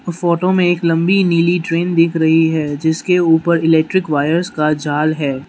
Photo में एक लंबी नीली ट्रेन दिख रही है जिसके ऊपर इलेक्ट्रिक वायर्स का जाल है।